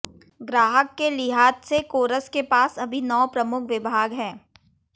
ग्राहक के लिहाज से कोरस के पास अभी नौ प्रमुख विभाग है